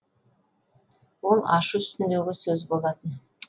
ол ашу үстіндегі сөз болатын